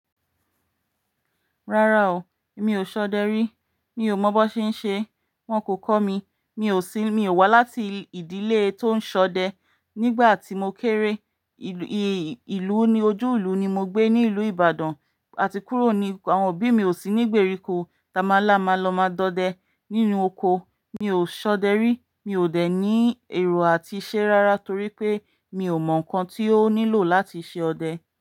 Rárá o, mi ò ṣọdẹ rí. Mi ò mọ̀ bó ṣe ń ṣe. Wọn kò kọ́ mi. Mi ò sí, mi ò wá láti ìdílé tó ń ṣọdẹ. Nígbà tí mo kéré, ìlú oní ojúùlu ni mo gbé ní ìlú Ibadan, àti kúrò ni àwọn òbí mi ò sí nígbèríko. Tamala ma lọ máa dọdẹ nínú oko. Mi ò ṣọdẹ rí. Mi ò dẹ̀ ní èrò àti iṣẹ́ rárá torí pé mi ò mọ̀ nǹkan tí ó nílò láti ṣe ọdẹ.